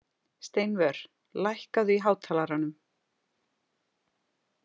Steinvör, lækkaðu í hátalaranum.